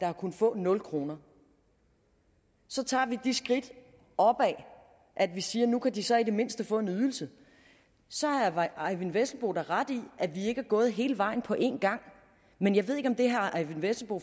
har kunnet få nul kroner så tager vi de skridt opad at vi siger at nu kan de så i det mindste få en ydelse så har herre eyvind vesselbo da ret i at vi ikke er gået hele vejen på en gang men jeg ved ikke om det herre eyvind vesselbo